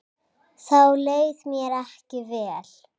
Þá leið mér ekki vel.